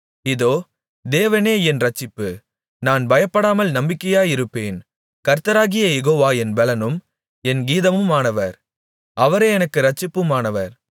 இதோ தேவனே என் இரட்சிப்பு நான் பயப்படாமல் நம்பிக்கையாயிருப்பேன் கர்த்தராகிய யேகோவா என் பெலனும் என் கீதமுமானவர் அவரே எனக்கு இரட்சிப்புமானவர்